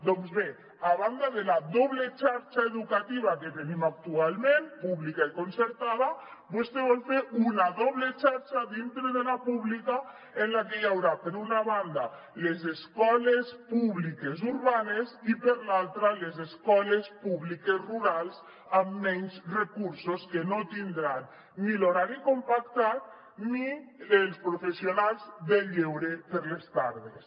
doncs bé a banda de la doble xarxa educativa que tenim actualment pública i concertada vostè vol fer una doble xarxa dintre de la pública en la que hi haurà per una banda les escoles públiques urbanes i per l’altra les escoles públiques rurals amb menys recursos que no tindran ni l’horari compactat ni els professionals de lleure per a les tardes